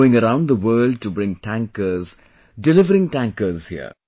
Going around the world to bring tankers, delivering tankers here